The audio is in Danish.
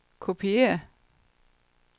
kopiér